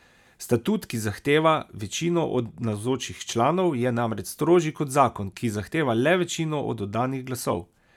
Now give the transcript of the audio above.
Statut, ki zahteva večino od navzočih članov, je namreč strožji kot zakon, ki zahteva le večino od oddanih glasov.